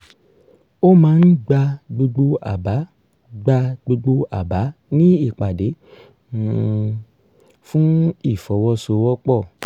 ó máa ń gba gbogbo àbá gba gbogbo àbá ní ìpàdé um fún ìfọwọ́sowọ́pọ̀